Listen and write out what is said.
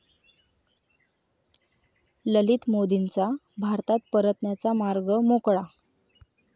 ललित मोदींचा भारतात परतण्याचा मार्ग मोकळा